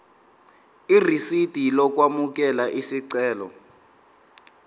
irisidi lokwamukela isicelo